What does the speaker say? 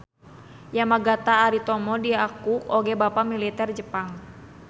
Yamagata Aritomo diaku oge bapak militer Jepang.